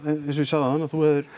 eins og ég sagði áðan að þú hafir